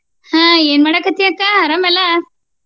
ಆಹ್ ಏನ ಮಾಡಾತಿ ಅಕ್ಕ ಅರಾಮ ಎಲ್ಲ?